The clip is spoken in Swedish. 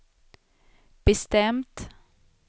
bestämt